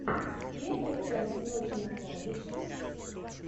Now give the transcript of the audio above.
первая часть ночи на кладбище